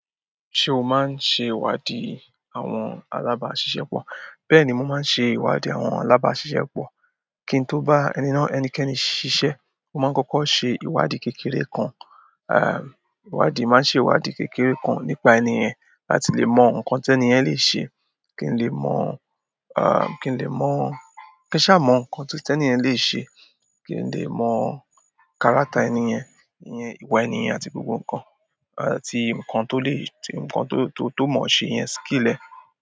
Ṣé o máa ń ṣe ìwádìí àwọn alábáṣiṣẹ́ pọ̀? Bẹ́ẹ̀ni, mo máa ń ṣe ìwádìí àwọn alábàáṣiṣẹ́pọ̀. Kí n tó bá ẹni náà-- ẹnikẹ́ni ṣiṣẹ́, mo máa ń kọ́kọ́ ṣe ìwádìí kékeré kan. À, ìwádìí, màá ṣe ìwádìí kékeré kan nípa ẹni yẹn láti lè mọ nǹkan tí ẹni yẹn lè ṣe, kí n lè mọ, à, kí n lè mọ-- kí n ṣáà mọ nǹkan tó, tí ẹni yẹn lè ṣe, kí n lè mọ character ẹni yẹn, ìyẹn ìwà ẹni yẹn àti gbogbo nǹkan, àti nǹkan tó lè, tí, nǹkan tó, tó, tó mọ̀ ọ́ ṣe yẹn, skill ẹ̀.